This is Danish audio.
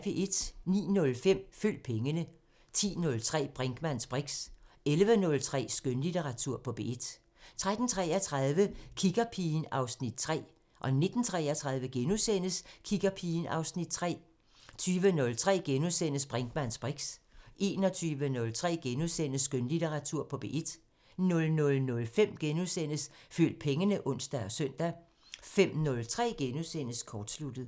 09:05: Følg pengene 10:03: Brinkmanns briks 11:03: Skønlitteratur på P1 13:33: Kiggerpigen (Afs. 3) 19:33: Kiggerpigen (Afs. 3)* 20:03: Brinkmanns briks * 21:03: Skønlitteratur på P1 * 00:05: Følg pengene *(ons og søn) 05:03: Kortsluttet *